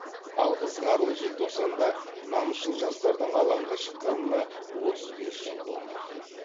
ал ызғарлы желтоқсанда намысшыл жастардың алаңға шыққанына отыз бес жыл болмақ